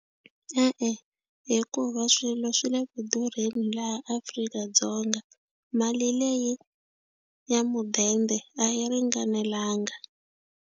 E-e, hikuva swilo swi le ku durheni laha Afrika-Dzonga mali leyi ya mudende a yi ringanelanga.